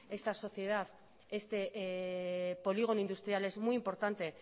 esta sociedad este polígono industrial es muy importante